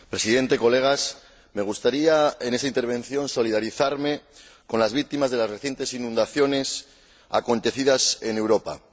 Señor Presidente, colegas, me gustaría en esta intervención solidarizarme con las víctimas de las recientes inundaciones acontecidas en Europa.